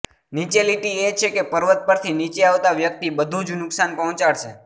નીચે લીટી એ છે કે પર્વત પરથી નીચે આવતા વ્યક્તિ બધું જ નુકશાન પહોંચાડશે